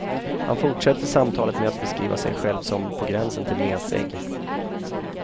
Han fortsätter samtalet med att beskriva sig själv som på gränsen till mesig.